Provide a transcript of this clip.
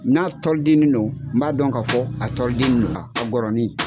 N'a tɔlidini no n b'a dɔn k'a fɔ a tɔlidini no gɔrɔni.